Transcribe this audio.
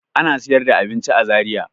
Ana sayar da abinci a Zariya.